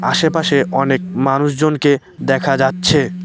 আশেপাশে অনেক মানুষজনকে দেখা যাচ্ছে।